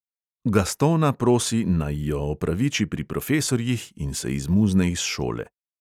Gastona prosi, naj jo opraviči pri profesorjih, in se izmuzne iz šole.